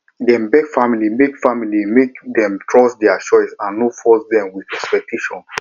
dem beg family make family make dem trust their choice and no force dem with expectation